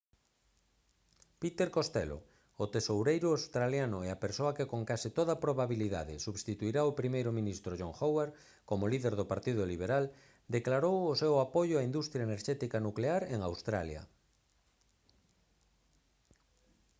peter costello o tesoureiro australiano e a persoa que con case toda probabilidade substituirá ao primeiro ministro john howard como líder do partido liberal declarou o seu apoio á industria enerxética nuclear en australia